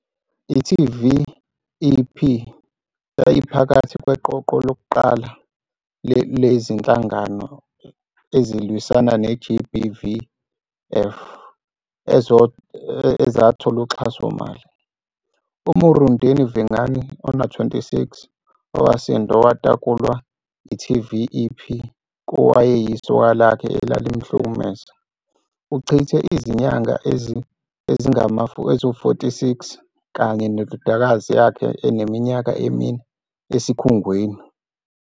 I-TVEP yayiphakathi kweqoqo lokuqala lezinhlangano ezilwisana ne-GBVF, ezathola uxhasomali. U-Murendeni Vhengani, 26, owasinda nowatakulwa i-TVEP kowayeyisoka lakhe elalimhlukumeza. Uchithe izinyanga ezingama-46 kanye nendodakazi eneminyaka emine esikhungweni.